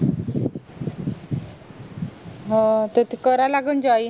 हो ते त करायला लागेल